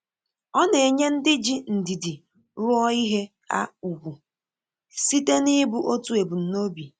Ọ na enye ndị ji ndidi rụọ ìhè ha ùgwù, site n’ibu otu ebumnobi